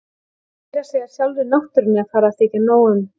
Meira að segja sjálfri náttúrunni er farið að þykja nóg um.